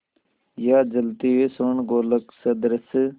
या जलते हुए स्वर्णगोलक सदृश